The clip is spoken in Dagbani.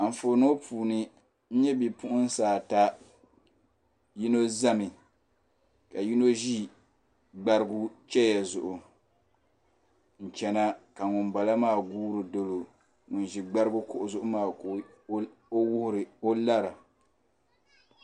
Anfooni ŋɔ puuni n nyɛ bipuɣinsi ata yino zami ka yino ʒi gbarigu cheya zuɣu n chana ka ŋunbala maa guura n doli o ŋun ʒi gbarigu kuɣu zuɣu maa ka o lara.